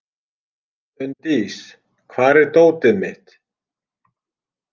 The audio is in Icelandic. Unndís, hvar er dótið mitt?